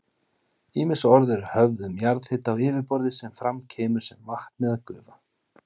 Ýmis orð eru höfð um jarðhita á yfirborði sem fram kemur sem vatn eða gufa.